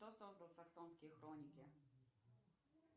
кто создал саксонские хроники